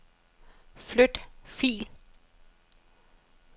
Flyt fil.